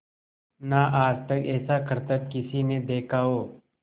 ना आज तक ऐसा करतब किसी ने देखा हो